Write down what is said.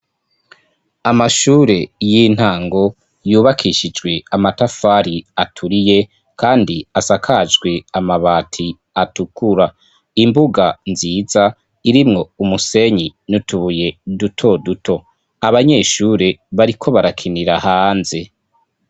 Amashure y'intango yubakishijwe amatafari aturiye kandi asakajwe amabati atukura. Imbuga nziza irimwo umusenyi n'utubuye dutoduto. Abanyeshure bariko barakinira hanze.